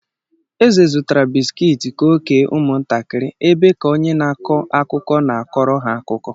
Eze zụtara bisikiiti ka ọ kee ụmụntakịrị ebe ka onye na-akọ akụkọ na-akọrọ ha akụkọ.